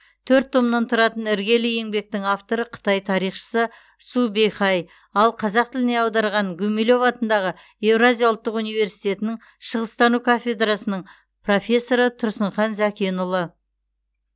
төрт томнан тұратын іргелі еңбектің авторы қытай тарихшысы су бэйхай ал қазақ тіліне аударған гумилев атындағы еуразия ұлттық университетінің шығыстану кафедрасының профессоры тұрсынхан зәкенұлы